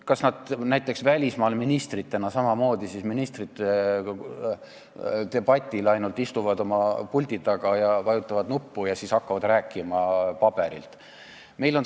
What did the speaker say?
Kas nad ministritena välismaal olles ministrite debatil samamoodi ainult istuvad oma puldi taga, vajutavad nuppu ja siis hakkavad rääkima paberilt?